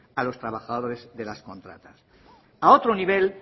a los trabajadores de las contratas a otro nivel